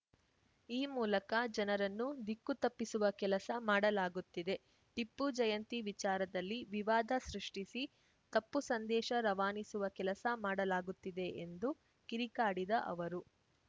ಈ ಮೂಲಕ ಜನರನ್ನು ದಿಕ್ಕು ತಪ್ಪಿಸುವ ಕೆಲಸ ಮಾಡಲಾಗುತ್ತಿದೆ ಟಿಪ್ಪು ಜಯಂತಿ ವಿಚಾರದಲ್ಲಿ ವಿವಾದ ಸೃಷ್ಟಿಸಿ ತಪ್ಪು ಸಂದೇಶ ರವಾನಿಸುವ ಕೆಲಸ ಮಾಡಲಾಗುತ್ತಿದೆ ಎಂದು ಕಿರಿಕಾಡಿದ ಅವರು